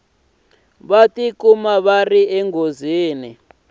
va tikuma va ri eka